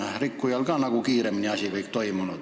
Asi saaks kiiremini aetud.